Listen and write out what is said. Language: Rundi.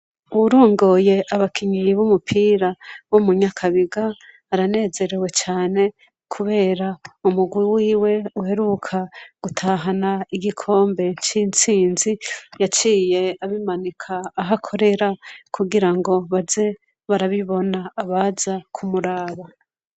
Uwurongoye abakinyi bumupira bo mu Nyakabiga aranezerewe cane Kubera ko umurwi wiwe uheruka gutahana igikombe citsinzi yaciye abimanika aho akorera kugirango baze barabibona abaza kumuraba.